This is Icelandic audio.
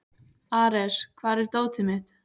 Ares, hvar er dótið mitt?